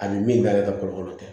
Ani min ka yɛrɛ ka kokolo tɛ